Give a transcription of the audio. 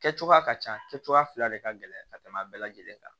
Kɛ cogoya ka ca kɛ cogoya fila de ka gɛlɛn ka tɛmɛ a bɛɛ lajɛlen kan